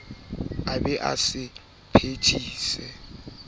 a be a sa phethise